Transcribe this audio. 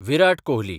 Virat Kohli